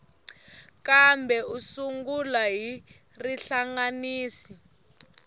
kambe u sungula hi rihlanganisi